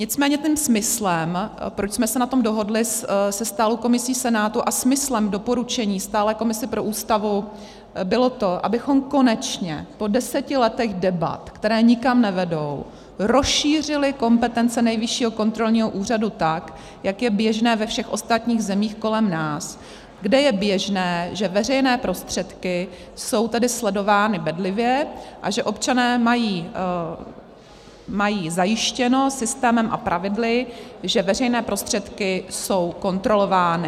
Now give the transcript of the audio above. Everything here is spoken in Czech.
Nicméně tím smyslem, proč jsme se na tom dohodli se stálou komisí Senátu, a smyslem doporučení stálé komise pro Ústavu bylo to, abychom konečně po deseti letech debat, které nikam nevedou, rozšířili kompetence Nejvyššího kontrolního úřadu tak, jak je běžné ve všech ostatních zemích kolem nás, kde je běžné, že veřejné prostředky jsou tedy sledovány bedlivě a že občané mají zajištěno systémem a pravidly, že veřejné prostředky jsou kontrolovány.